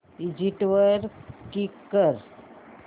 exit वर click कर